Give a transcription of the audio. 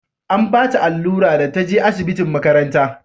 an bata allura da ta je asibitin makaranta